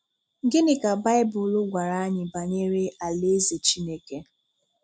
Gịnị ka Baịbụl gwàrà anyị banyere Alaeze Chineke?